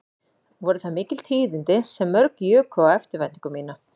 Voru það mikil tíðindi sem mjög juku á eftirvæntingu mína